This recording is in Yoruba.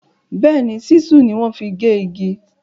Béèní, Ṣísù ni wọ́n fi gé igi.